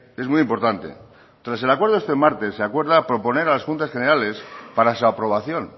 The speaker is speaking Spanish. es muy importante tras el acuerdo de este martes se acuerda proponer a las juntas generales para su aprobación